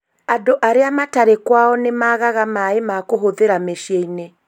Andũ arĩa matarĩ kwao nĩ magaga maaĩ ma kũhũthĩra mĩciĩ-inĩ